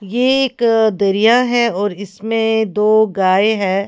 ये एक दरिया है और इसमें दो गाय है।